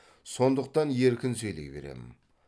сондықтан еркін сөйлей берем